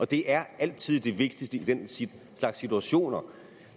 det er altid det vigtigste i den slags situationer